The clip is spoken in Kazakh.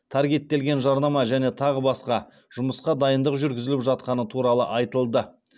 таргеттелген жарнама және тағы басқа жұмысқа дайындық жүргізіліп жатқаны туралы айтылды